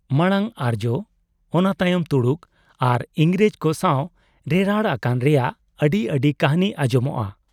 ᱢᱟᱬᱟᱝ ᱟᱨᱡᱭᱚ, ᱚᱱᱟ ᱛᱟᱭᱚᱢ ᱛᱩᱲᱩᱠ ᱟᱨ ᱤᱝᱨᱮᱡᱽ ᱠᱚ ᱥᱟᱶ ᱨᱮᱨᱟᱲ ᱟᱠᱟᱱ ᱨᱮᱭᱟᱜ ᱟᱹᱰᱤ ᱟᱹᱰᱤ ᱠᱟᱹᱦᱱᱤ ᱟᱸᱡᱚᱢᱚᱜᱼᱟ ᱾